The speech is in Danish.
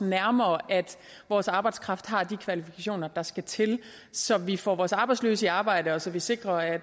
nærmere at vores arbejdskraft har de kvalifikationer der skal til så vi får vores arbejdsløse i arbejde og så vi sikrer at